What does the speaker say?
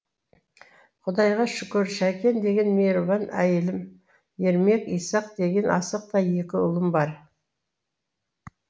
құдайға шүкір шәкен деген мейірбан әйелім ермек исақ деген асықтай екі ұлым бар